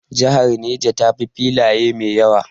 Jihar Neja ta fi filaye mai yawa